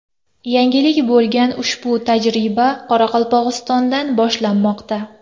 Yangilik bo‘lgan ushbu tajriba Qoraqalpog‘istondan boshlanmoqda.